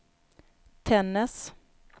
Tännäs